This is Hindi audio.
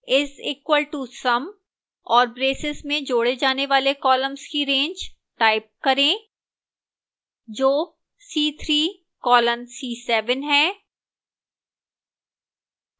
is equal to sum और braces में जोड़े जाने वाले columns की range type करें जो c3 colon c7 है